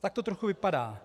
Tak to trochu vypadá.